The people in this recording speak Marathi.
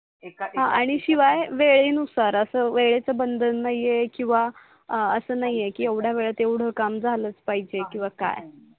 एक एक आणि शिवाय वेळेनुसार अस वेळेच बंधन नाही आहे किवा अस नाही आहे की येवडया वेळेत येवड काम झालच पाहिजे किवा काय